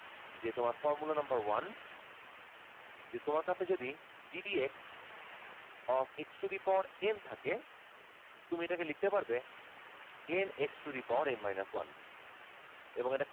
যে তোমার formula number one যে তোমার কাছে যদি gdp of x to the power n থাকে তুমি এটা কে লিখতে পারবে n x to the power n minus one এবং এটা